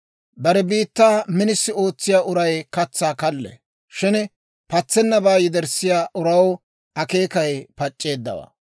Bare biittaa minisi ootsiyaa uray katsaa kallee; shin patsennabaa yederssiyaa uraw akeekay pac'c'eeddawaa.